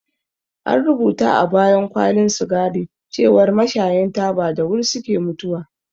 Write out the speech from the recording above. An rubuta a bayan kwalin sigari cewar mashayan taba da wuri suke mutuwa